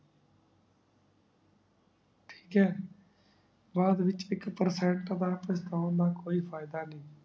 talk ਹੈ ਬਾਦ ਵਿਚ ਇਕ perfect ਤੋ ਬਾਦ ਤਾਵਾਨੁ ਪਾਚ੍ਤਾਂ ਦਾ ਕੋਈ ਫਾਯਦਾ ਨਾਈ